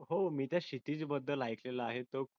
हो मी ज्या क्षितिज बद्दल ऐकलेला आहे तो